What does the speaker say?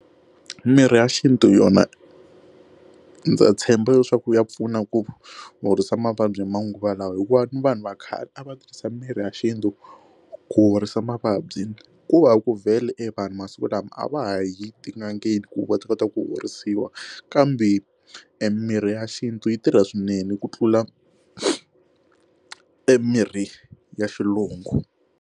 Mirhi ya xintu yona ndza tshemba leswaku ya pfuna ku horisa mavabyi hi manguva lawa hikuva ni vanhu va khale a va tirhisa mirhi ya xintu ku horisa mavabyi ku va ku vhele evanhu masiku lama a va ha yi tin'angeni ku va ta kota ku horisiwa kambe emirhi ya xintu yi tirha swinene ku tlula emirhi ya xilungu.